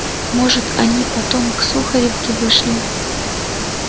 может они потом к сухаревке вышли